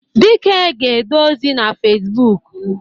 Dike ga-ede ozi na Fezbụk.